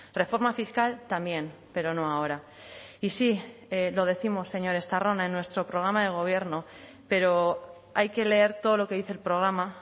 reforma fiscal también pero no ahora y sí lo décimos señor estarrona en nuestro programa de gobierno pero hay que leer todo lo que dice el programa